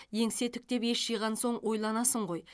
еңсе тіктеп ес жиған соң ойланасың ғой